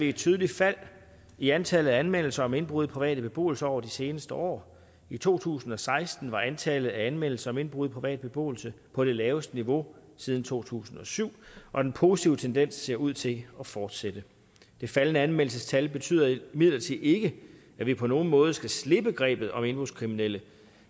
et tydeligt fald i antallet af anmeldelser om indbrud i privat beboelse over de seneste år i to tusind og seksten var antallet af anmeldelser om indbrud i privat beboelse på det laveste niveau siden to tusind og syv og den positive tendens ser ud til at fortsætte det faldende anmeldelsestal betyder imidlertid ikke at vi på nogen måde skal slippe grebet om indbrudskriminelle